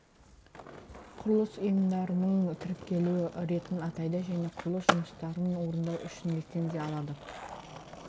құрылыс ұйымдарының тіркелу ретін атайды және құрылыс жұмыстарын орындау үшін лицензия алады